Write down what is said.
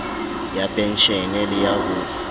ya penshene le ya ho